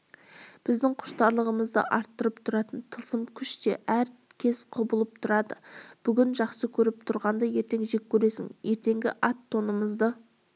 біздің құштарлығымызды арттырып тұратын тылсым күш те әр кез құбылып тұрады бүгін жақсы көріп тұрғанды ертең жек көресің ертеңгі ат-тонымызды